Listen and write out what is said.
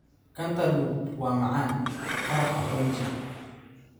Cantaloupe waa macaan, qaraha oranji.